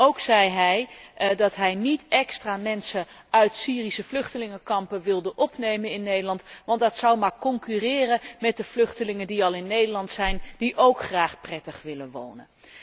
Ook zei hij dat hij niet extra mensen uit Syrische vluchtelingenkampen wilde opnemen in Nederland, want dat zou maar concurreren met de vluchtelingen die al in Nederland zijn en die ook graag prettig willen wonen.